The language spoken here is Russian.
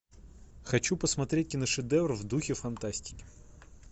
хочу посмотреть киношедевр в духе фантастики